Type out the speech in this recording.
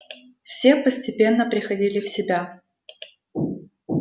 все постепенно приходили в себя